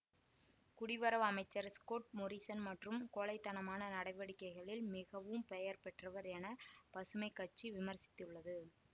குடிவரவு அமைச்சர் Scott Morrison மற்றும் கோழை தனமான நடவடிக்கைகளில் மிகவும் பெயர் பெற்றவர் என பசுமை கட்சி விமர்சித்துள்ளது